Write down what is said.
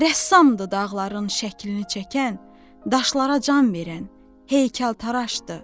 Rəssamdır dağların şəklini çəkən, daşlara can verən heykəltaraşdır.